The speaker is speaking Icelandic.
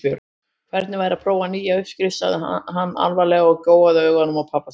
Hvernig væri að prófa nýja uppskrift sagði hann varlega og gjóaði augunum á pabba sinn.